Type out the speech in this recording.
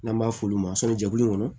N'an b'a f'olu ma sɔni jɛkulu kɔnɔ